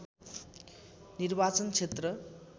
निर्वाचन क्षेत्र